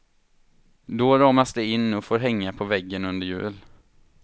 Då ramas de in och får hänga på väggen under jul.